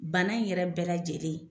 Bana in yɛrɛ bɛɛ lajɛlen